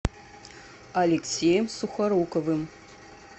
алексеем сухоруковым